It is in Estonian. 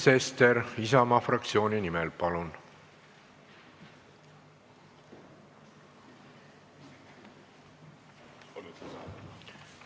Sven Sester Isamaa fraktsiooni nimel, palun!